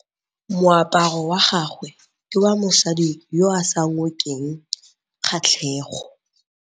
Moaparô wa gagwe ke wa mosadi yo o sa ngôkeng kgatlhegô.